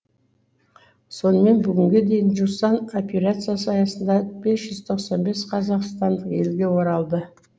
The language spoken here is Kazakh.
сонымен бүгінге дейін жусан операциясы аясында бес жүз тоқсан бес қазақстандық елге оралды